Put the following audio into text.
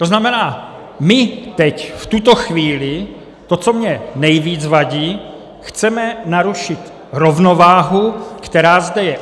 To znamená, my teď, v tuto chvíli - to, co mně nejvíc vadí - chceme narušit rovnováhu, která zde je.